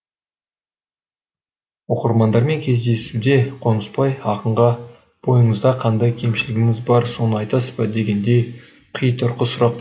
оқырмандармен кездесуде қонысбай ақынға бойыңызда қандай кемшілігіңіз бар соны айтасыз ба дегендей қитұрқы сұрақ